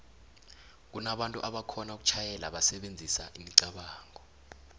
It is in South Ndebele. kunabantu aboxhona ukutjhayela basebenzisa imicabango